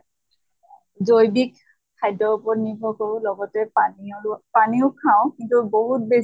জৈৱীক খাদ্য়ৰ ওপৰত নিৰ্ভৰ কৰোঁ লগতে পানী আৰু পানীও খাওঁ কিন্তু বহুত বেছি